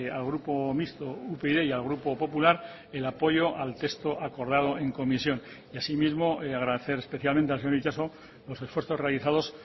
al grupo mixto upyd y al grupo popular el apoyo al texto acordado en comisión y asimismo agradecer especialmente al señor itxaso los esfuerzos realizados